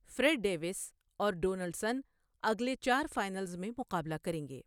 Fred Davis اور Donaldson اگلے چار فائنلز میں مقابلہ کریں گے۔